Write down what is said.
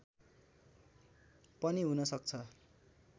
पनि हुन सक्छ